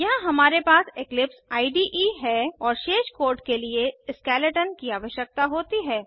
यहाँ हमारे पास इक्लिप्स इडे है और शेष कोड के लिए स्केलेटन की आवश्यकता होती है